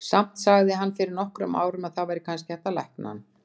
Samt sagði hann fyrir nokkrum árum að það væri kannski hægt að lækna hann.